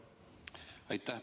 Aitäh!